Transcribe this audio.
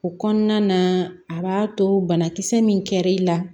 O kɔnɔna na a b'a to banakisɛ min kɛr'i la